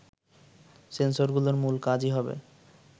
সেন্সরগুলোর মূল কাজই হবে